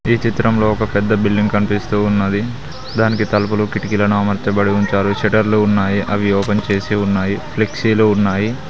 ఈ చిత్రంలో ఒక పెద్ద బిల్డింగ్ కనిపిస్తూ ఉన్నది దానికి తలుపులు కిటికీలును అమర్చాబడి ఉంచారు శెట్టర్లు ఉన్నాయి అవి ఓపెన్ చేసి ఉన్నాయి ఫ్లిక్సిలు ఉన్నాయి.